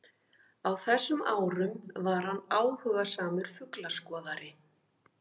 Á þessum árum var hann áhugasamur fuglaskoðari.